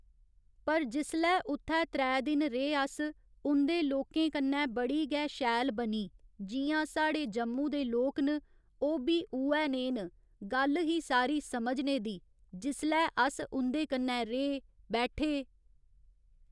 पर जिसलै उत्थै त्रै दिन रेह् अस उं'दे लोकें कन्नै बड़ी गै शैल बनी जि'यां साढ़े जम्मू दे लोक न ओह् बी उ'ऐ नेह् न गल्ल ही सारी समझने दी जिसलै अस उं'दे कन्नै रेह, बैठे